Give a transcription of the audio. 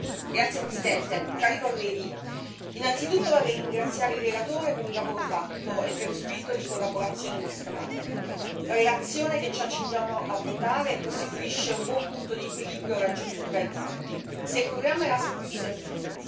Signor Presidente, onorevoli colleghi, innanzitutto vorrei ringraziare il relatore per il lavoro fatto e per lo spirito di collaborazione mostrato. La relazione che ci accingiamo a votare costituisce un buon punto di equilibrio raggiunto tra i gruppi.